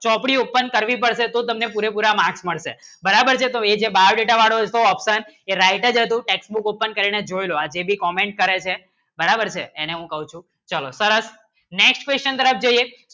ચોપડી open કરવી પડશે તો તમને પુરા પુરા marks માલવી પડશે બરાબર છે એ જો biodata વાળો છે option જે writer હતું textbook open કરીને જોયેલો પછી ભી comment કરે છે બરાબર છે એને હું કહું છું ચલો સરસ next question તરફ જોઈએ